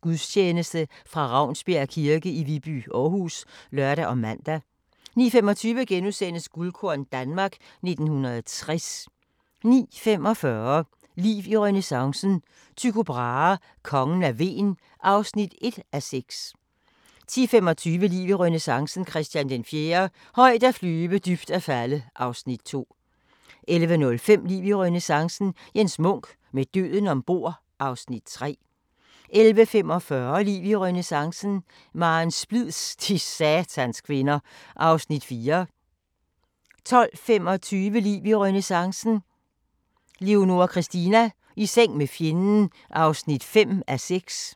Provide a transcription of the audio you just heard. Gudstjeneste fra Ravnsbjerg kirke i Viby, Aarhus *(lør og man) 09:25: Guldkorn - Danmark 1960 * 09:45: Liv i renæssancen – Tycho Brahe: Kongen af Hven (1:6) 10:25: Liv i renæssancen – Christian IV - højt at flyve, dybt at falde (2:6) 11:05: Liv i renæssancen – Jens Munk: Med døden ombord (3:6) 11:45: Liv i renæssancen: Maren Splids - de satans kvinder (4:6) 12:25: Liv i renæssancen: Leonora Christina - i seng med fjenden (5:6)